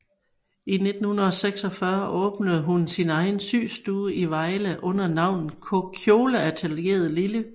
I 1946 åbnede hun sin egen systue i Vejle under navnet Kjoleatelieret Lilly